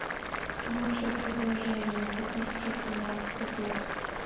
лучшее предложение две тысячи тринадцатый год